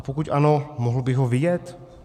A pokud ano, mohl bych ho vidět?